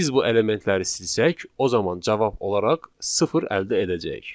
Biz bu elementləri silsək, o zaman cavab olaraq sıfır əldə edəcəyik.